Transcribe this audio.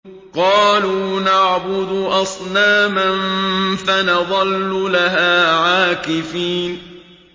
قَالُوا نَعْبُدُ أَصْنَامًا فَنَظَلُّ لَهَا عَاكِفِينَ